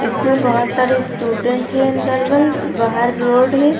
इसमें बहोत सारे स्टूडेंट हैं अंदर वॉल बाहर रोड है।